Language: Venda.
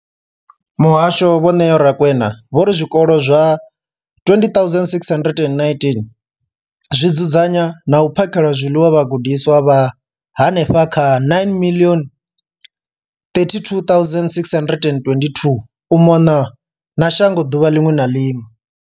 Muhasho, vho Neo Rakwena, vho ri zwikolo zwa 20 619 zwi dzudzanya na u phakhela zwiḽiwa vhagudiswa vha henefha kha 9 032 622 u mona na shango ḓuvha ḽiṅwe na ḽiṅwe.